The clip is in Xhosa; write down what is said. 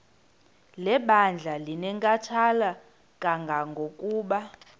lebandla linenkathalo kangangokuba